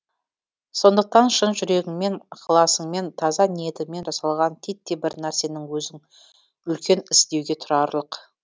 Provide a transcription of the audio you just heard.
сондықтан шын жүрегіңмен ықыласыңмен таза ниетіңмен жасалған титтей бір нарсенің өзің үлкен іс деуге тұрарлық